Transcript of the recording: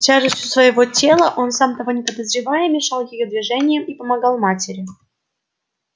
тяжестью своего тела он сам того не подозревая мешал её движениям и помогал матери